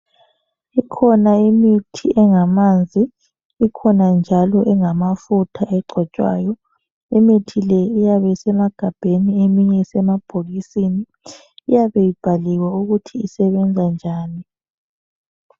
Ikhona imithi engamanzi, ikhona njalo engamafutha egcotshwayo. Imithi le iyabe isemagabheni eminye isemabhokisini. Iyabe ibhaliwe ukuthi isebenza njani.